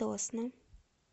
тосно